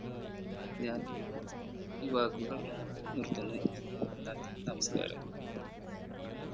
ഞാൻ ഈ വാക്കുകൾ നിർത്തുന്നു നന്ദി നമസ്കാരം